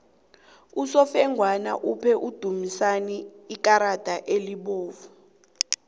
usofengwana uphe udumisani ikarada elibovu